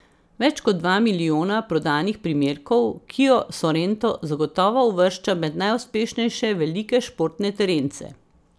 Več kot dva milijona prodanih primerkov kio sorento zagotovo uvršča med najuspešnejše velike športne terence.